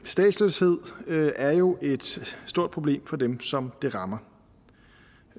statsløshed er jo et stort problem for dem som det rammer